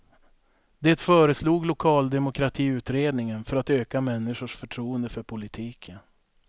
Det föreslog lokaldemokratiutredningen för att öka människors förtroende för politiken.